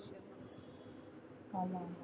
ஆமா